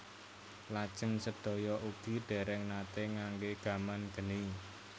Lajeng sedaya ugi dèrèng naté nganggé gaman geni